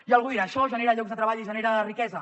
i algú dirà això genera llocs de treball i genera riquesa